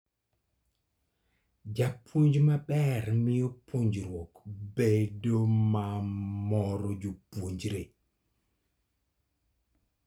Japuonj maber miyo puonjruok bedo mamoro jopuonjre.